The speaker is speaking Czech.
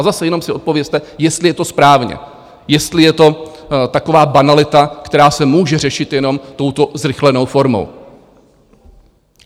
A zase, jenom si odpovězte, jestli je to správně, jestli je to taková banalita, která se může řešit jenom touto zrychlenou formou.